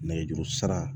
Nɛgɛjuru sira